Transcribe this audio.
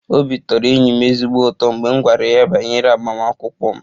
Obi tọrọ enyi m ezigbo ụtọ mgbe m gwara ya banyere agbamakwụkwọ m